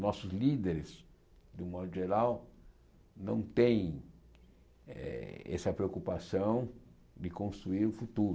Nossos líderes, de um modo geral, não têm eh essa preocupação de construir o futuro.